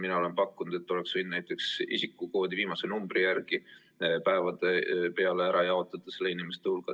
Mina olen pakkunud, et oleks võinud näiteks isikukoodi viimase numbri järgi päevade peale ära jaotada selle inimeste hulga.